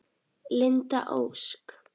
Linda Ósk.